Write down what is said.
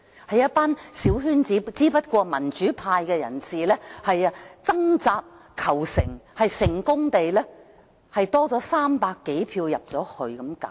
有一班小圈子選委，只不過民主派人士掙扎求成，成功爭取到300多票進入去。